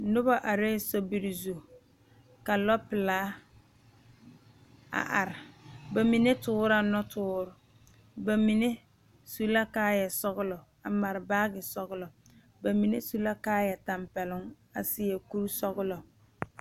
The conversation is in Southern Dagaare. noba arɛɛ sobiri zu ka lɔpelaa a are ba mine toore la nɔtoore ba mine su la kaayɛ sɔgelɔ a mare baagi sɔgelɔ ba mine su la kaayɛ tampɛloŋ a seɛ kuri sɔglɔ